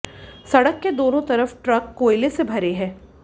सड़क के दोनों तरफ़ ट्रक कोयले से भरे हैं